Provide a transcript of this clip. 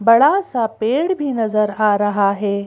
बड़ा सा पेड़ भी नजर आ रहा हैं।